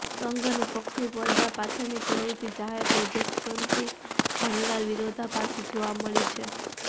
સંઘ અને પક્ષની પડદા પાછળની પ્રવૃત્તિ જાહેર પ્રોજેક્શનથી ઘણીવાર વિરોધાભાસી જોવા મળી છે